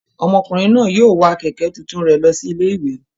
Ọmọkùnrin náà yóò wa kẹ̀kẹ́ tuntun rẹ̀ lọ sí ilé-ìwé.